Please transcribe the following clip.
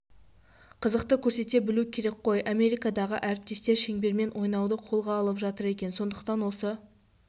қызықты көрсете білу керек қой америкадағы әріптестер шеңбермен ойнауды қолға алып жатыр екен сондықтан осы